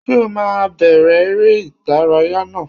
Ṣé o máa bẹ̀rẹ̀ èrè ìdárayá náà!